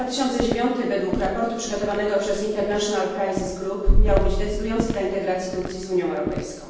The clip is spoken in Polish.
Rok 2009, według raportu przygotowanego przez International Crisis Group, miał być decydujący dla integracji Turcji z Unią Europejską.